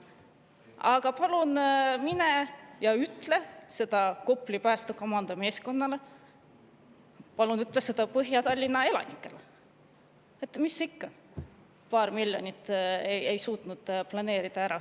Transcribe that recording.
Aga palun mine ja ütle seda Kopli päästekomando meeskonnale, palun ütle seda Põhja-Tallinna elanikele, et mis ikka, paari miljonit ei suutnud ära planeerida.